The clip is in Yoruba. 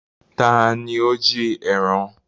Taàní ó jí ẹran?